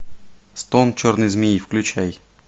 стон черной змеи включай